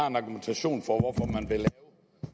en argumentation for hvorfor man vil lave